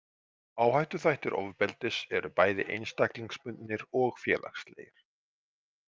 Áhættuþættir ofbeldis eru bæði einstaklingsbundnir og félagslegir.